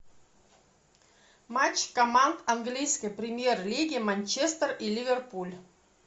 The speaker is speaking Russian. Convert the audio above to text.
матч команд английской премьер лиги манчестер и ливерпуль